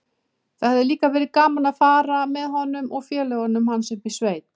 Það hefði líka verið gaman að fara með honum og félögum hans upp í sveit.